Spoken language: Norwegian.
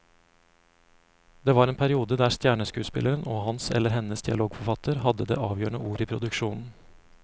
Det var en periode der stjerneskuespilleren og hans eller hennes dialogforfatter hadde det avgjørende ordet i produksjonen.